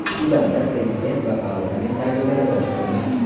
Sudanda prezident va parlament saylovlari boshlandi.